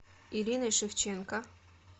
ириной шевченко